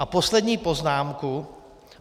A poslední poznámka.